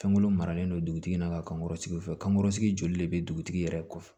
Fɛnko maralen don dugutigi na ka kankɔrɔsigi kankɔrɔsigi joli de bɛ dugutigi yɛrɛ kɔfɛ